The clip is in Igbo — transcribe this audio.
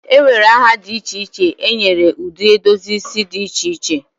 e nwere aha dị iche iche e nyere ụdị edozi isi dị iche iche